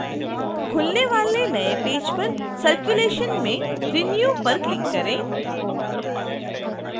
खुलने वाले नए पेज पर circulation में renew पर click करें